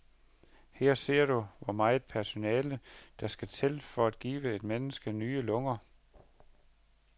Her ser du, hvor meget personale, der skal til for at give et menneske nye lunger.